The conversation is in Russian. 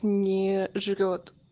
не жрёт